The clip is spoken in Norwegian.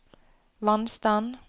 vannstand